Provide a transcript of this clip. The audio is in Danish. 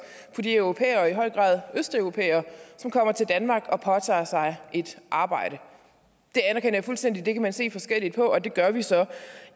på de europæere og i høj grad østeuropæere som kommer til danmark og påtager sig et arbejde jeg anerkender fuldstændig at det kan man se forskelligt på og det gør vi så